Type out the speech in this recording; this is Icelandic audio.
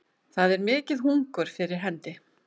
Það er mikið hungur fyrir hendi